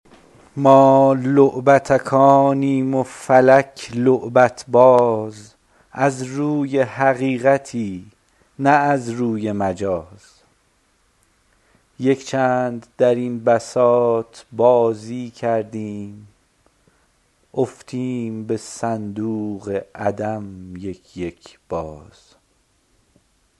ما لعبتکانیم و فلک لعبت باز از روی حقیقتی نه از روی مجاز یک چند در این بساط بازی کردیم رفتیم به صندوق عدم یک یک باز